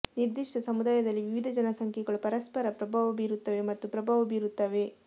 ನಿರ್ದಿಷ್ಟ ಸಮುದಾಯದಲ್ಲಿ ವಿವಿಧ ಜನಸಂಖ್ಯೆಗಳು ಪರಸ್ಪರ ಪ್ರಭಾವ ಬೀರುತ್ತವೆ ಮತ್ತು ಪ್ರಭಾವ ಬೀರುತ್ತವೆ